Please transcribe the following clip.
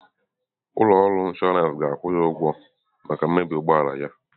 Ụlọ ọrụ inshọransị ga-akwụ ya ụgwọ maka mmebi ụgbọ ala ya.